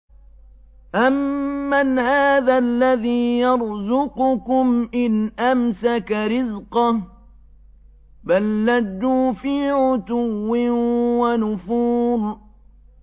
أَمَّنْ هَٰذَا الَّذِي يَرْزُقُكُمْ إِنْ أَمْسَكَ رِزْقَهُ ۚ بَل لَّجُّوا فِي عُتُوٍّ وَنُفُورٍ